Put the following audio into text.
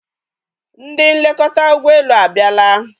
Ndị nlekọta ụgbọelu abiala